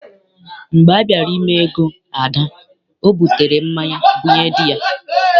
Mgbe a bịara ime ego Ada, ọ butere mmanya bunye dị ya.